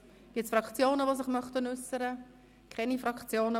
Gibt es Fraktionen, die sich dazu äussern möchten?